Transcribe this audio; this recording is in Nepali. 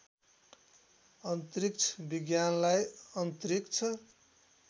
अन्तरिक्ष विज्ञानलाई अन्तरिक्ष